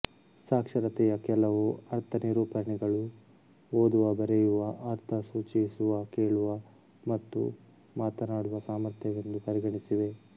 ಸಾಕ್ಷರತೆಯ ಕೆಲವು ಅರ್ಥನಿರೂಪಣೆಗಳು ಓದುವ ಬರೆಯುವ ಅರ್ಥಸೂಚಿಸುವಕೇಳುವ ಮತ್ತು ಮಾತನಾಡುವ ಸಾಮರ್ಥ್ಯವೆಂದು ಪರಿಗಣಿಸಿವೆ